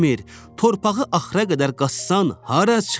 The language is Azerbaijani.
torpağı axıra qədər qazsan, hara çıxır?